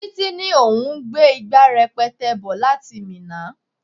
Títí ní òun gbé ìgbà rẹpẹtẹ bò láti Minna.